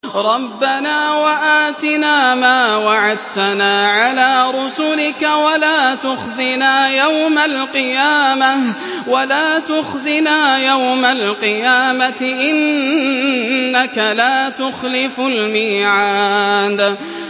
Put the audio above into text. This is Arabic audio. رَبَّنَا وَآتِنَا مَا وَعَدتَّنَا عَلَىٰ رُسُلِكَ وَلَا تُخْزِنَا يَوْمَ الْقِيَامَةِ ۗ إِنَّكَ لَا تُخْلِفُ الْمِيعَادَ